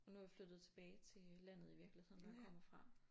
Og nu er vi flyttet tilbage til landet i virkeligheden hvor jeg kommer fra